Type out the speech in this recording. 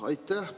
Aitäh!